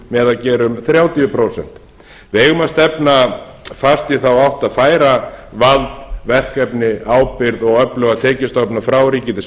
með að gera um þrjátíu prósent við eigum að stefna fast í þá átt að færa vald verkefni ábyrgð og öfluga tekjustofna frá ríki til